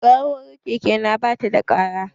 Ƙararrawar keke na ba ta da ƙara.